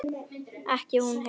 Ekki hún Heiða.